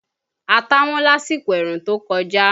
Ata wọ́n lásìkò ẹ̀rùn tó kọjá